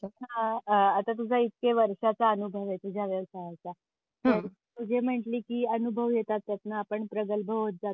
आता तुझ्या इतके वर्षाचा अनुभव आहे तुझ्या व्यवसायाचा तर हम्म तू जे म्हटली की अनुभव येतात त्यातून आपण प्रगल्भ होत जातो.